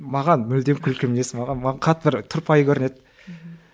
маған мүлдем күлкі емес маған қатты тұрпайы көрінеді мхм